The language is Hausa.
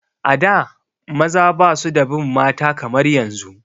A da maza ba su da bin mata kamar yanzu